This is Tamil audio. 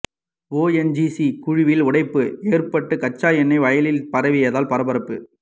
ஓஎன்ஜிசி குழாயில் உடைப்பு ஏற்பட்டு கச்சா எண்ணெய் வயலில் பரவியதால் பரபரப்பு